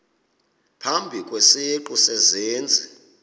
phambi kwesiqu sezenzi